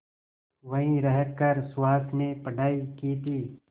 वहीं रहकर सुहास ने पढ़ाई की थी